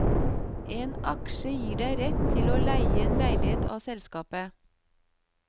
En aksje gir deg rett til å leie en leilighet av selskapet.